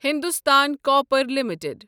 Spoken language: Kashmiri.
Hindustan copper limited